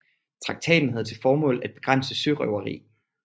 Traktaten havde til formål at begrænse sørøveri